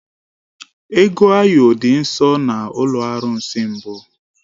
Ego ayo dị nsọ na ụlọ arụsị mbụ